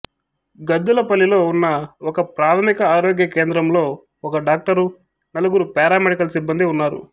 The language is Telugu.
గద్దలపల్లిలో ఉన్న ఒకప్రాథమిక ఆరోగ్య కేంద్రంలో ఒక డాక్టరు నలుగురు పారామెడికల్ సిబ్బందీ ఉన్నారు